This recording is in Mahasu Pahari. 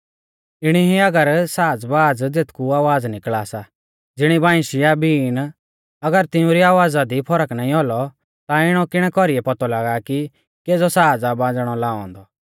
इणी ई अगर साज़बाज़ ज़ेथकु आवाज़ निकल़ा सा ज़िणी बांइशी या बीन अगर तिउंरी आवाज़ा दी फरक नाईं औलौ ता इणौ किणै कौरीऐ पौतौ लागा कि केज़ौ साज़ आ बाज़णै लाऔ औन्दौ